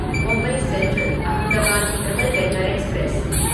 Mumbai central Ahmedabad double decker express